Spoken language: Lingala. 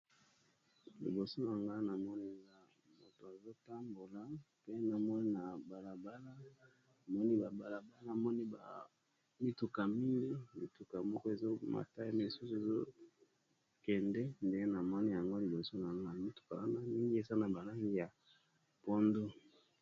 Liboso ya ngana moni ya mutu azotambola pe namoni na balabala namoni ba mituka mingi ,mituka moko ezo mata misusu ezokende nde na moni yango liboso na nga mituka wana mingi ezana balangi ya pondu.